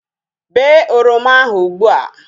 Bee oroma ahu ụgbụa!